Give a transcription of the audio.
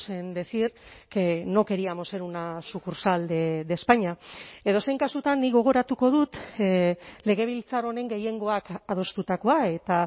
en decir que no queríamos ser una sucursal de españa edozein kasutan nik gogoratuko dut legebiltzar honen gehiengoak adostutakoa eta